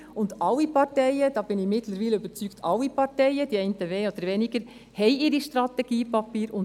Alle Parteien – davon bin ich mittlerweile überzeugt –, die einen mehr, die anderen weniger, haben ihre Strategiepapiere.